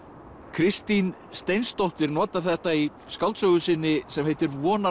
Kristín Steinsdóttir notar þetta í skáldsögu sinni sem heitir